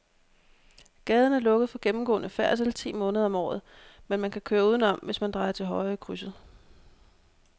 Gaden er lukket for gennemgående færdsel ti måneder om året, men man kan køre udenom, hvis man drejer til højre i krydset.